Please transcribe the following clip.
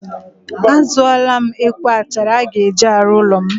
A zụọla m ekwe achara a ga-eji arụ ụlọ m.